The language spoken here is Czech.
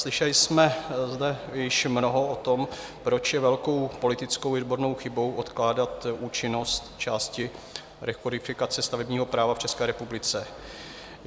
Slyšeli jsme zde již mnoho o tom, proč je velkou politickou i odbornou chybou odkládat účinnost části rekodifikace stavebního práva v České republice.